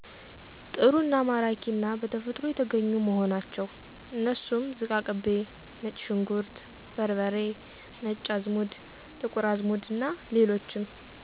ጥሩ አና ማራኪ አና በተፈጥሮ የተገኙ መሆናቸው። አነሱም ዝቃቅቤ፣ ነጭ ሽንኩርት በርበሬ፣ ነጭ አዘሙድ፣ ጥቁር አዝሙድ አና ሌሎችም